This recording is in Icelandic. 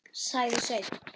sagði Sveinn.